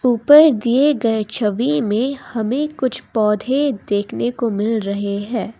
ऊपर दिए गए छवि में हमें कुछ पौधे देखने को मिल रहे हैं।